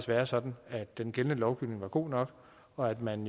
være sådan at den gældende lovgivning var god nok og at man